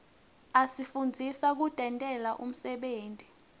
asifundzisa kutentela umsebenti